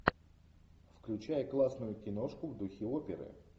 включай классную киношку в духе оперы